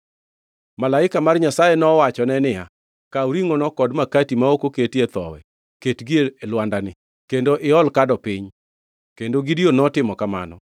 Malaika mar Nyasaye nowachone niya, “Kaw ringʼono kod makati ma ok oketie thowi, ketgi e lwandani, kendo iol kado piny.” Kendo Gideon notimo kamano.